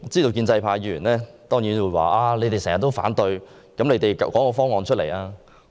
建制派議員當然會說：你們經常反對，但你們能提出其他方案嗎？